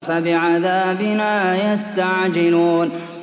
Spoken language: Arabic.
أَفَبِعَذَابِنَا يَسْتَعْجِلُونَ